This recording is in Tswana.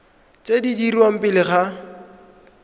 tse di dirwang pele ga